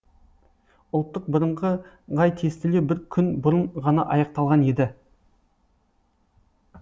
ұлттық бірыңғай тестілеу бір күн бұрын ғана аяқталған еді